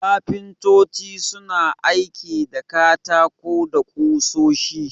Kafintoci suna aiki da katako da ƙusoshi.